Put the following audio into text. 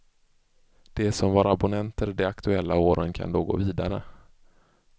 De som var abonnenter de aktuella åren kan då gå vidare.